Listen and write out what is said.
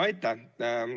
Aitäh!